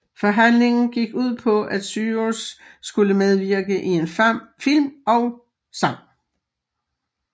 Forhandlingen gik ud på at Cyrus skulle medvirke i en film og sang